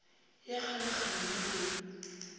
ya kgalekgale na o e